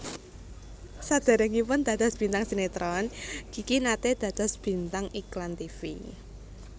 Sadèrèngipun dados bintang sinétron Kiki naté dados bintang iklan tivi